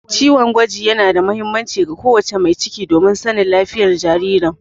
Ciwon gwaji yana da muhimmanci ga ko wace mai ciki domin sanin lafiyar jaririn.